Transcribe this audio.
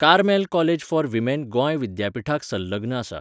Carmel college for women Goa विद्यापीठाक संलग्न आसा.